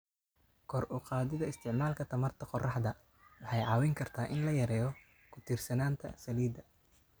Kor u qaadida isticmaalka tamarta qoraxda waxay caawin kartaa in la yareeyo ku tiirsanaanta saliidda.